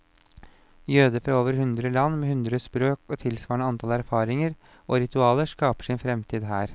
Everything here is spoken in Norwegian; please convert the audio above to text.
Jøder fra over hundre land, med hundre språk og tilsvarende antall erfaringer og ritualer, skaper sin fremtid her.